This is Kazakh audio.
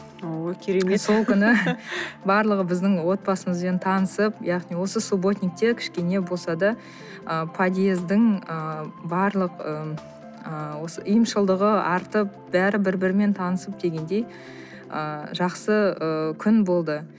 о керемет сол күні барлығы біздің отбасымызбен танысып яғни осы субботникте кішкене болса да ы подъездің ы барлық ы ұйымшылдығы артып бәрі бір бірімен танысып дегендей ы жақсы ы күн болды